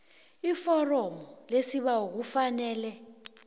iforomo lesibawo kufanele